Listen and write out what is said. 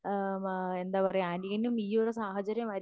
ആഹ് എന്താ പറയാ അനിയനും ഈ ഒരു സാഹചര്യമായിരിക്കും